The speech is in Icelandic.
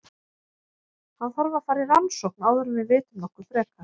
Hann þarf að fara í rannsókn áður en við vitum nokkuð frekar.